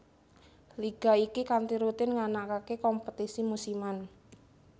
Liga iki kanthi rutin nganakake kompetisi musiman